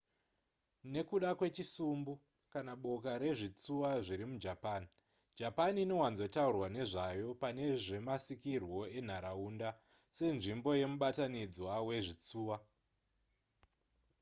nekuda kwechisumbu / boka rezvitsuwa zviri mujapan japan inowanzotaurwa nezvayo pane zvemasikirwo enharaunda se nzvimbo yemubatanidzwa wezvitsuwa